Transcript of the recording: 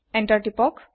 enter তিপক